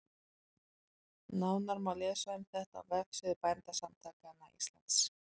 Nánar má lesa um þetta á vefsíðu Bændasamtaka Íslands.